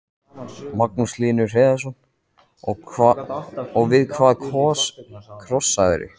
Magnús Hlynur Hreiðarsson: Og við hvað krossaðirðu?